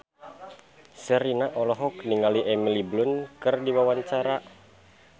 Sherina olohok ningali Emily Blunt keur diwawancara